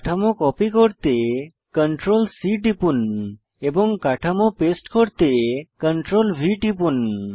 কাঠামো কপি করতে CTRL C টিপুন এবং কাঠামো পেস্ট করতে CTRL V টিপুন